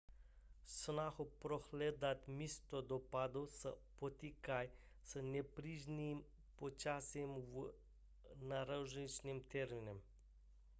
snahy prohledat místo dopadu se potýkají s nepříznivým počasím a náročným terénem